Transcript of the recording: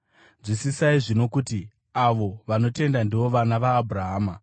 Nzwisisai zvino, kuti avo vanotenda ndivo vana vaAbhurahama.